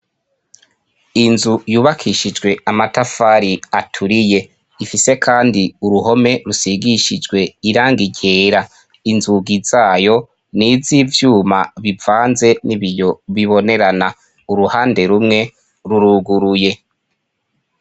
Inzu yubakishijwe amatafari aturiye ifise kandi uruhome rusigishijwe irangi ryera, inzugi zayo n'izivyuma bivanze nibiyo bibonerana uruhande rumwe ruruguruye.